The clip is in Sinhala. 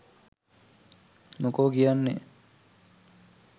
මොකෝ කියන්නේ?